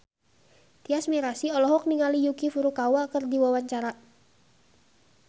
Tyas Mirasih olohok ningali Yuki Furukawa keur diwawancara